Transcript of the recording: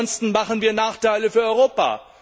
Ansonsten schaffen wir Nachteile für Europa.